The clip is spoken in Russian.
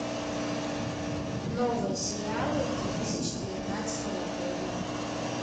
новые сериалы две тысячи девятнадцатого года